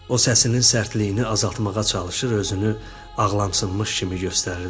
O səsinin sərtliyini azaltmağa çalışır, özünü ağlanmış kimi göstərirdi.